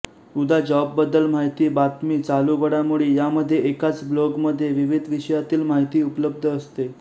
उदा जॉब बद्दल माहिती बातमी चालू घडामोडी यामधे एकाच ब्लोगमधे विविध विषयातील मााहीती उपलब्ध असते